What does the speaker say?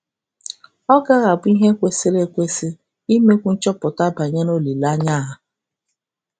Ọ gaghị abụ ihe kwesịrị ekwesị imekwu nchọpụta banyere olileanya a?